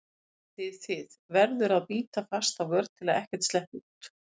þið þið, þið- verður að bíta fast á vör til að ekkert sleppi út.